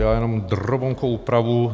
Já jenom drobounkou úpravu.